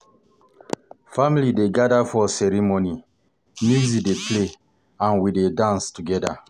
Family dey gather for ceremony, music dey play, and we dey dance together.